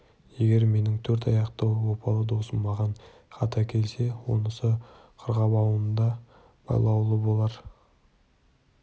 егер менің төрт аяқты опалы досым маған хат әкелсе онысы қарғыбауында байлаулы болар